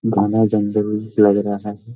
घना जंगल लग रहा है।